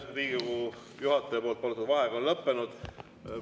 Riigikogu juhataja võetud vaheaeg on lõppenud.